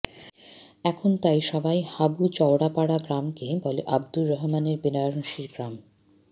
এখন তাই সবাই হাবু চওড়াপাড়া গ্রামকে বলে আবদুর রহমানের বেনারসির গ্রাম